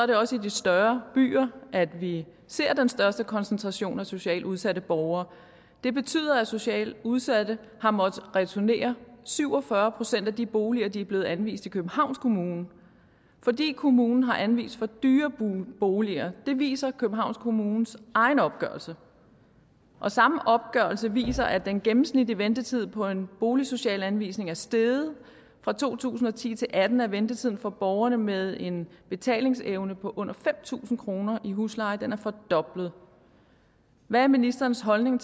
det også i de større byer at vi ser den største koncentration af socialt udsatte borgere det betyder at socialt udsatte har måttet returnere syv og fyrre procent af de boliger de er blevet anvist i københavns kommune fordi kommunen har anvist for dyre boliger det viser københavns kommunes egen opgørelse og samme opgørelse viser at den gennemsnitlige ventetid på en boligsocial anvisning er steget fra to tusind og ti til atten er ventetiden for borgere med en betalingsevne på under fem tusind kroner i husleje fordoblet hvad er ministerens holdning